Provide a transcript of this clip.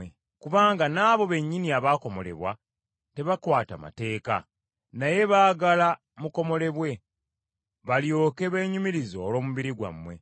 Kubanga n’abo bennyini abakomolebwa tebakwata mateeka, naye baagala mukomolebwe balyoke beenyumirize olw’omubiri gwammwe.